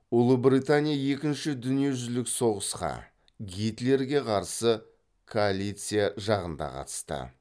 ұлыбритания екінші дүниежүзілік соғысқа гитлерге қарсы коалиция жағында қатысты